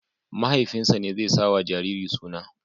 Mahaifinsa ne zai sawa jariri suna.